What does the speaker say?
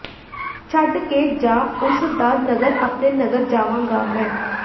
ਛਡ ਕੇ ਜਾਂ ਉਸ ਦਾ ਨਗਰ ਆਪਣੇ ਨਗਰ ਜਾਵਾਂਗਾ ਮੈਂ